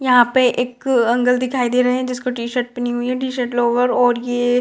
यहाँ पे एक अंकल दिखाई दे रहे है जिसको टी-शर्ट पहनी हुईं है टी-शर्ट लॉयर और ये --